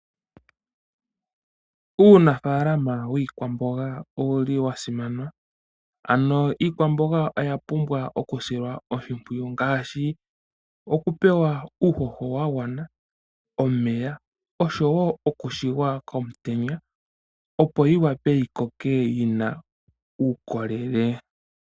Uunafaalama wiikwamboga owu li wa simana. Ano iikwamboga oya pumbwa okusilwa oshimpwiyu ngaashi okupewa uuhoho wa gwana, omeya oshowo okushigwa komutenya, opo yi wape yi koke yi na uukolele.